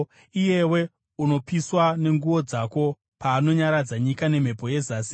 Iyewe unopiswa nenguo dzako nyika painonyaradzwa nemhepo yezasi,